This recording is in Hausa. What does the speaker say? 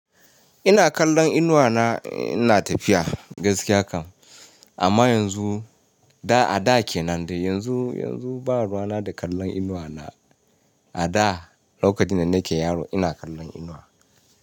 Ina kallon inuwa na, ina tafiya gaskiya kam. Amma yanzu, da a da kenan dai, yanzu, yanzu ba ruwa na da kallon inuwa na. A da lokacin da nake yaro ina kallon inuwa.